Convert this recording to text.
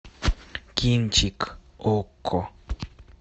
кинчик окко